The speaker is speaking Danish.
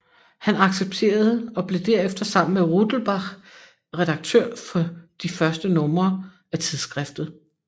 Han accepterede og blev derefter sammen med Rudelbach redaktør for de første numre af tidsskriftet